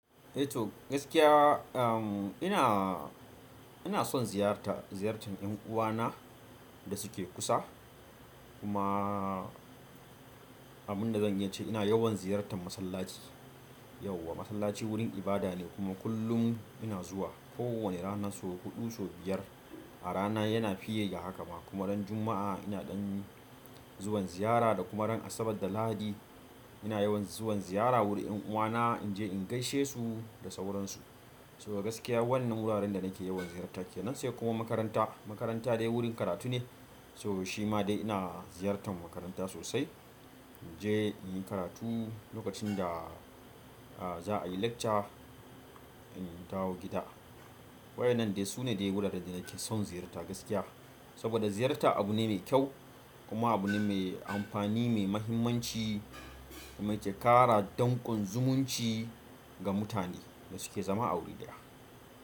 Eh to gaskiya, um ina, ina son ziyarta, ziyartar ƴan uwana da suke kusa. Kuma abin da zan iya ce ina yawan ziyartar masallaci. Yauwa masallaci wurin ibada ne kuma kullum ina zuwa ko wane rana so huɗu, so biyar. A rana yana fiye da haka ma kuma ran Juma'a ina ɗan zuwan ziyara da kuma ran Asabar da Lahadi ina yawan zuwan ziyara wurin 'yan uwana in je in gaishe su da sauransu. Saboda gaskiya wannan wuraren da nake yawan ziyarta kenan sai kuma makaranta. Makaranta dai wurin karatu ne, so shi ma dai ina ziyartan makaranta sosai. In je in yi karatu lokacin da a za a yi lecture in dawo gida. Waƴannan dai su ne dai wuraren da nake son ziyarta gaskiya. Saboda ziyarta abu ne mai kyau kuma abu ne mai amfani, mai mahimmanci mai ƙara danƙon zumunci ga mutane da suke zama a wuri ɗaya.